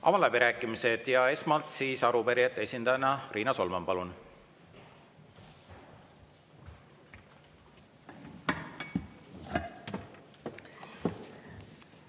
Avan läbirääkimised ja esmalt arupärijate esindaja Riina Solman, palun!